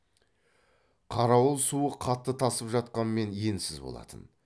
қарауыл суы қатты тасып жатқанмен енсіз болатын